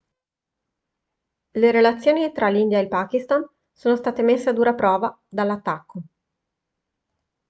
le relazioni tra l'india e il pakistan sono state messe a dura prova dall'attacco